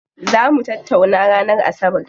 Zaa mu tattaunawa ranar asabar.